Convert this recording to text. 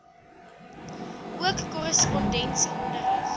ook korrespondensie onderrig